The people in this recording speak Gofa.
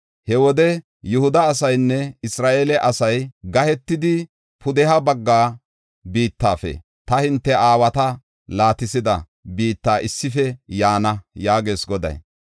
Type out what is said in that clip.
He wode Yihuda asaynne Isra7eele asay gahetidi pudeha bagga biittafe ta hinte aawata laatisida biitta issife yaana” yaagees Goday.